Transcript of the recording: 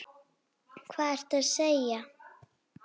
Hvað ertu að segja!